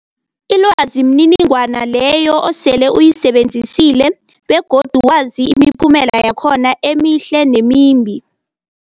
Ilwazi mniningwana leyo osele uyisebenzisile begodu wazi imiphumela yakhona emihle nemimbi.